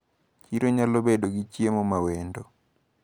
Chiro nyalobedo gi chiemo mawendo.